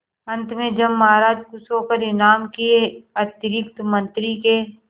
अंत में जब महाराज खुश होकर इनाम के अतिरिक्त मंत्री के